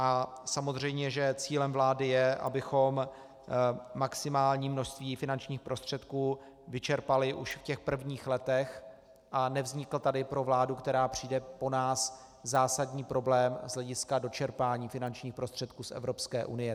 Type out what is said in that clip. A samozřejmě že cílem vlády je, abychom maximální množství finančních prostředků vyčerpali už v těch prvních letech a nevznikl tady pro vládu, která přijde po nás, zásadní problém z hlediska dočerpání finančních prostředků z Evropské unie.